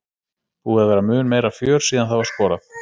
Búið að vera mun meira fjör síðan það var skorað.